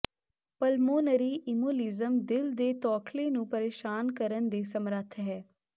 pulmonary embolism ਦਿਲ ਦੇ ਤੌਖਲੇ ਨੂੰ ਪਰੇਸ਼ਾਨ ਕਰਨ ਦੇ ਸਮਰੱਥ ਹੈ